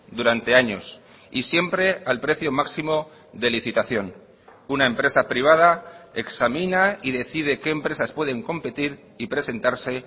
durante años y siempre al precio máximo de licitación una empresa privada examina y decide qué empresas pueden competir y presentarse